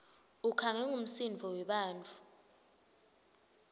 ukhangwe ngumsindvo webantfu